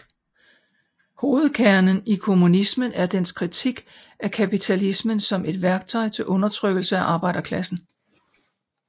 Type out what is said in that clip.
Hovedkernen i kommunismen er dens kritik af kapitalismen som et værktøj til undertrykkelse af arbejderklassen